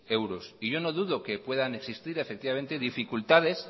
euros y yo no dudo que puedan existir efectivamente dificultades